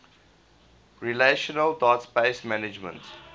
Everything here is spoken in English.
relational database management